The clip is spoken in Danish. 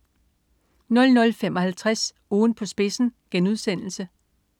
00.55 Ugen på spidsen*